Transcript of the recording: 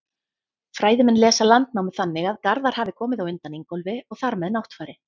Fræðimenn lesa Landnámu þannig að Garðar hafi komið á undan Ingólfi og þar með Náttfari.